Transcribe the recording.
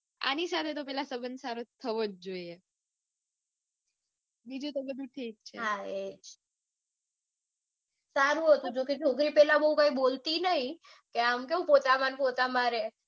આની સાથે તો પેલા સબંધ સારો થવો જોઈએ. બીજું તો બધું ઠીક છે. સારું હતું જોકે છોકરી નઈ કે આમ કેવું રે.